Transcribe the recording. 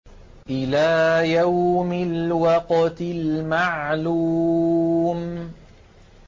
إِلَىٰ يَوْمِ الْوَقْتِ الْمَعْلُومِ